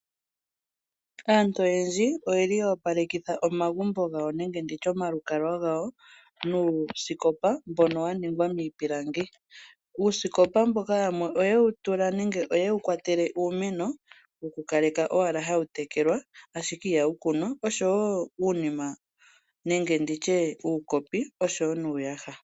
Aantu oyendji oyeli ya opalekitha omagumbo gawo nenge ndi tye omalukalwa gawo nuusikopa mbono wa ningwa miipilangi. Uusikopa mboka yamwe oye wu tula nenge oyewu kwatele uumeno okukaleka owala hawu tekelwa ashike ihawu kunwa oshowo uunima nenge ndi tye uukopi oshowo nuuyaha.